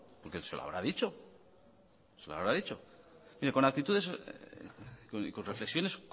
porque se lo habrá dicho se lo habrá dicho mire con actitudes y con reflexiones